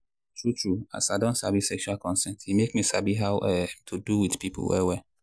true true as i don sabi sexual consent e make me sabi how um to do with people well well.